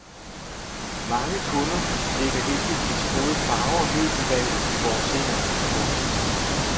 Mange kunder lægger heldigvis både farve og møbelvalg i vores hænder. punktum